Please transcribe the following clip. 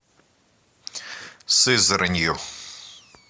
сызранью